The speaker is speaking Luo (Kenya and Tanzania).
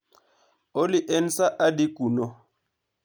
Olly, en saa adi kuno?